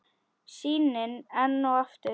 Sýnin enn og aftur.